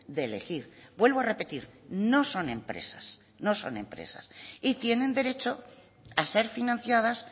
de elegir vuelvo a repetir no son empresas no son empresas y tienen derecho a ser financiadas